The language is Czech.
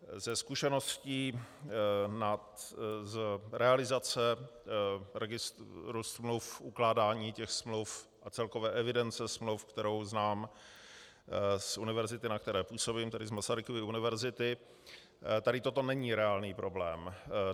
Ze zkušeností z realizace registru smluv, ukládání těch smluv a celkové evidence smluv, kterou znám z univerzity, na které působím, tedy z Masarykovy univerzity, tady toto není reálný problém.